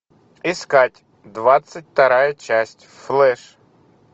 искать двадцать вторая часть флэш